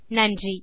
நன்றி